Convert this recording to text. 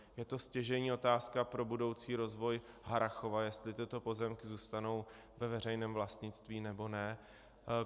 Je to stěžejní otázka pro budoucí rozvoj Harrachova, jestli tyto pozemky zůstanou ve veřejném vlastnictví, nebo ne.